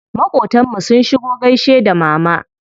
Maƙotan mu sun shigo gaishe da mama.